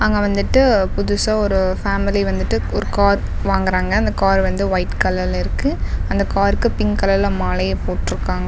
அங்க வந்துட்டு புதுசா ஓரு பேமிலி வந்துட்டு ஒரு கார் வாங்குறாங்க அந்த கார் வந்து வைட் கலர்ல இருக்கு அந்த கார்க்கு பிங்க் கலர்ல மாலையு போட்டுருக்காங் --